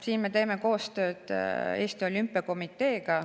Siin me teeme koostööd Eesti Olümpiakomiteega.